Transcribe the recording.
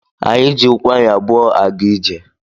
Anyị jị ụkwụ anyị abụọ a ga ijè